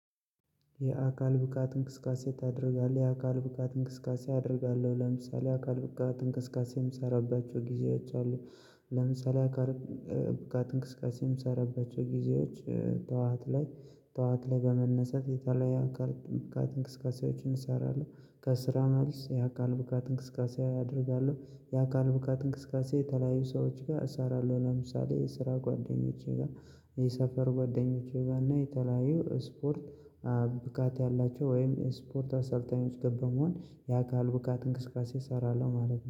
የአካል ብቃት እንቅስቃሴ ታደርጋለህ የአካል ብቃት እንቅስቃሴ አደርጋለሁ ለምሳሌ የአካል ብቃት እንቅስቃሴ እምሰራባቸው ጊዜዎች አሉ። ለምሳሌ የአካል ብቃት እንቅስቃሴ እምሰራባቸው ጊዜዎች። ጥዋት ላይ ጥዋት ላይ በመነሳት የተለያየ አካል ብቃት እንቅስቃሴዎችን እሰራለሁ ከስራ መልስ የአካል ብቃት እንቅስቃሴ አደርጋለሁ የአካል ብቃት እንቅስቃሴ የተለያዩ ሰዎች ጋር እሰራለሁ ለምሳሌ የስራ ጓደኞቼ ጋር የሰፈር ጓደኞቼ ጋር እና የተለያዩ ስፖርት ብቃት ያላቸው ወይም ስፖርት አሰልጣኞች ጋር በመሆን የአካል ብቃት እንቅስቃሴ እሰራለሁ ማለት ነው